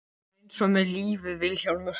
Það er eins með lífið Vilhjálmur.